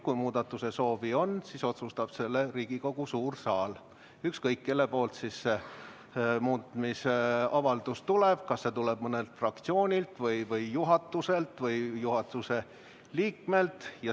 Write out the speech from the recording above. Kui muutmise soovi on, siis otsustab selle Riigikogu suur saal, ükskõik kellelt muutmise avaldus tuleb, kas see tuleb mõnelt fraktsioonilt või juhatuselt või juhatuse liikmelt.